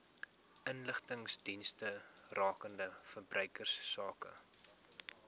inligtingsdienste rakende verbruikersake